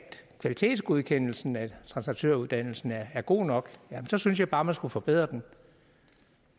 kvalitetsgodkendelsen af translatøruddannelsen er god nok så synes jeg bare man skulle forbedre den